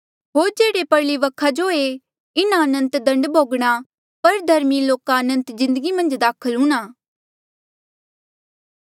होर जेह्ड़े परली वखा जो एे इन्हा अनंत दण्ड भोगणा पर धर्मी लोका अनंत जिन्दगी मन्झ दाखल हूंणां